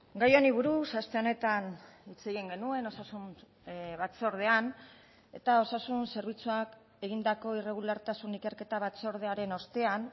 gai honi buruz aste honetan hitz egin genuen osasun batzordean eta osasun zerbitzuak egindako irregulartasun ikerketa batzordearen ostean